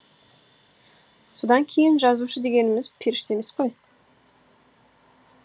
содан кейін жазушы дегеніміз періште емес қой